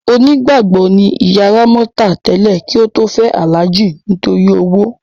Onígbàgbọ́ ni ìyá Rámọ́tà tẹ́lẹ̀ kí ó tó fẹ́ Alhaji nítorí owó.